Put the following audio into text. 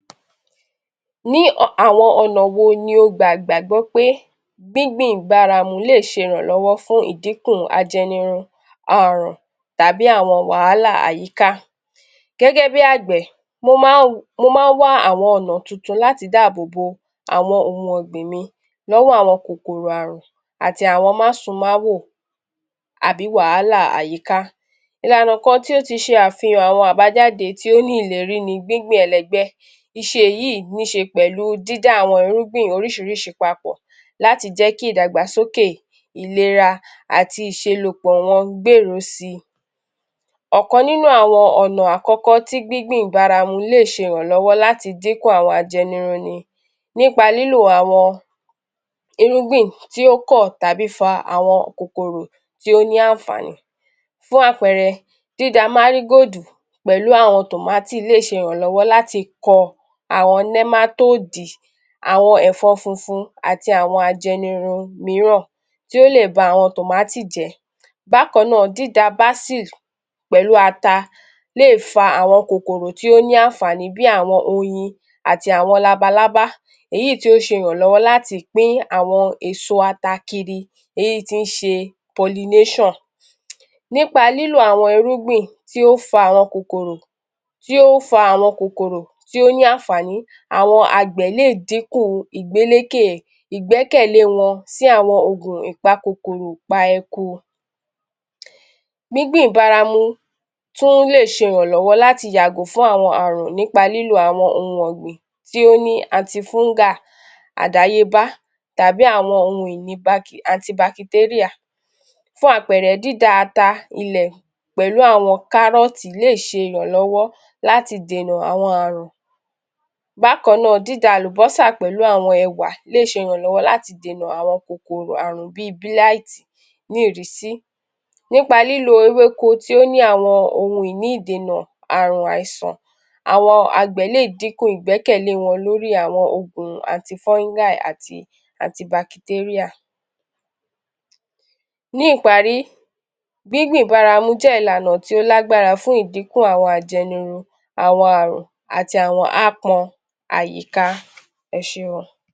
Ní àwọn ọ̀nà wo ni o gbà gbagbọ́ pé gbíngbìn báramu le ṣe ìrànlọ́wọ́ fún ìdínkù ajẹnirun àrùn tàbí awọn wàhálà àyíká? Gẹ́gẹ́bí àgbẹ̀, mo má ń wá àwọn ọ̀nà tuntun láti dáàbò bo àwọn ohun ọ̀gbìn mi lọ́wọ́ àwọn kòkòrò àrùn àti àwọn má-su-má-wò àbí wahála ayíká. Ìlànà kan tó ti ṣe àfihàn àwọn àbájáde tí ó ní ìlérí ní gbíngbìn ẹlẹgbẹ́. Ìṣe yíì níṣe pẹ̀lú dída àwọn irúgbìn oríṣiiríṣii papọ̀ láti jẹ́ kí ìdàgbàsókè ìlera àti ìṣelòpọ̀ wọn gbèrú síi. Ọ̀kan nínú àwọn awon ọna àkókó tí gbíngbìn ìbáramu le ṣe ìrànlówó láti dínkù àwọn ajẹnirun ni nípa lílo awon irúgbìn tí ó kọ̀ tàbí fa àwọn kokoro tí ó ní àǹfààní. Fún àpẹẹrẹ, dída (marigold) pẹ̀lú àwọn tòmátì lè ṣe àǹfààní láti kọ àwọn (nematode), àwọn ẹ̀fọ́ funfun, àti àwọn ajẹnirun míran tí ó lè ba àwọn tòmáti jẹ́. Bákan náà, dída (basil) pẹ̀lú ata lè fa àwọn kòkòrò tí ó ní àǹfààní bíi àwọn oyin, àti àwọn labalábá èyí tí ó ṣe ìraǹlọ́wọ́ láti pín àwọn èso ata kiri èyí tí ń ṣe (pollination). Nípa lílo àwọn irúgbin tí ó fa àwọn kòkòrò…tí ó fa àwọn kòkòrò tí ó ní àǹfààní, àwọn àgbẹ̀ le dínkù ìgbélékè…ìgbẹkẹ̀lẹ wọn sí àwọn ìpakòkòrò-pa-eku. Gbíngbìn báramu tún lè ṣe ìraǹlọ́wọ́ láti yàgò fún àwọn àrùn nípa lílo àwọn ohun ọ̀gbìn tí ó ní (anti-fungal), àdáyébá tàbí àwọn ohun ìní (anti-bacterial). Fún àpẹẹrẹ, dída ata ilẹ̀ pẹ̀lú àwọn (carrot) lè ṣe ìraǹlọ́wọ́ láti dènà àwọn àrùn. Bákan náà, dída àlùbọ́sà pẹ̀lú àwọn èwà lè ṣe ìraǹlọ́wọ́ láti dènà àwọn kòkòrò àrùn bíi (blight). Ní ìrísí, nípa lílo ewéko tí ó ní àwọn ohun ìní ìdènà àrùn àìsàn, àwọn àgbè lè dínkù ìgbẹ́kẹ̀lẹ́ wọn lórí àwọn ògùn (anti-fungal) àti (anti-bacterial). Ní ìparí, gbíngbìn báramu jẹ́ ìlànà tí ó lágbára fún ìdínkù àwọn ajẹnirun, àwọn àrùn àti àwọn áápọn àyíká. Eṣé o.